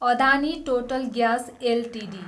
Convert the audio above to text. Adani total gas Ltd